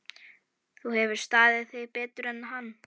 Þú hefur staðið þig betur en hann.